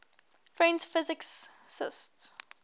french physicists